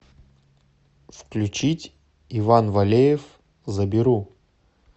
включить иван валеев заберу